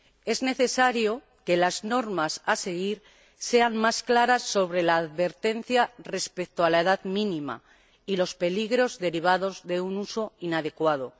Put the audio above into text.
Es necesario que las normas a seguir sean más claras sobre la advertencia respecto a la edad mínima y los peligros derivados de un uso inadecuado.